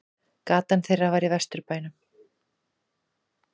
Gatan þeirra var í Vesturbænum.